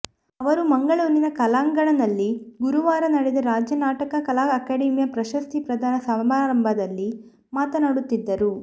ಅವರು ಮಂಗಳೂರಿನ ಕಲಾಂಗಣ್ನಲ್ಲಿ ಗುರುವಾರ ನಡೆದ ರಾಜ್ಯ ನಾಟಕ ಕಲಾ ಅಕಾಡೆಮಿಯ ಪ್ರಶಸ್ತಿ ಪ್ರದಾನ ಸಮಾರಂಭದಲ್ಲಿ ಮಾತನಾಡುತ್ತಿದ್ದರು